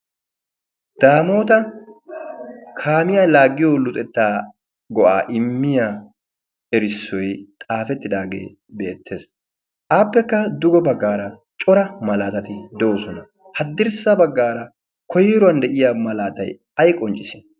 daamoota kaamiyaa laaggiyo luxettaa go7aa immiya erissoi xaafettidaagee beettees. aappekka dugo baggaara cora malaatati de7osona. haddirssa baggaara koiruwan de7iya malaatai ai qonccis?